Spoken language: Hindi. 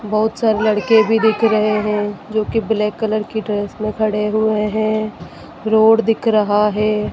बहुत सारे लड़के भी दिख रहे हैं जो की ब्लैक कलर की ड्रेस में खड़े हुए हैं रोड दिख रहा है।